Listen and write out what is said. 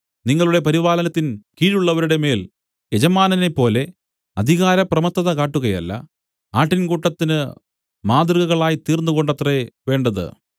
നിങ്ങളുടെ പരിപാലനത്തിൻ കീഴുള്ളവരുടെ മേൽ യജമാനനെപ്പോലെ അധികാര പ്രമത്തത കാട്ടുകയല്ല ആട്ടിൻകൂട്ടത്തിന് മാതൃകകളായിത്തീർന്നുകൊണ്ടത്രെ വേണ്ടത്